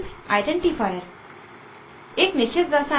smiles identifier